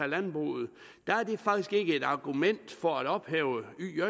landbruget faktisk ikke et argument for at ophæve